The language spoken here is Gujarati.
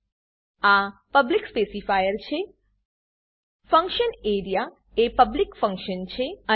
આ પબ્લિક પબ્લિક સ્પેસીફાયર છે ફંકશન એઆરઇએ ફંક્શન એરીયા એ પબ્લિક ફંક્શન છે